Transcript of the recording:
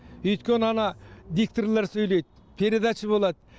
өйткені ана дикторлар сөйлейді передача болады